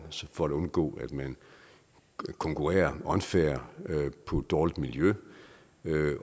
for at undgå at man konkurrerer unfair på dårligt miljø